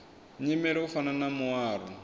nyimele u fana na muaro